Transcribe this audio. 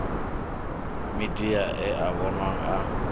midia e a vhonwa a